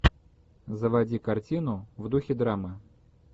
заводи картину в духе драмы